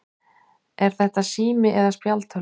Er þetta sími eða spjaldtölva?